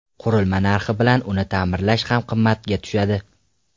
Qurilma narxi bilan uni ta’mirlash ham qimmatga tushadi.